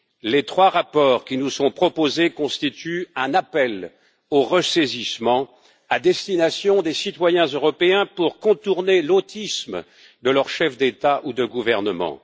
Les trois rapports qui nous sont proposés constituent un appel au ressaisissement à destination des citoyens européens pour contourner l'autisme de leurs chefs d'État ou de gouvernement.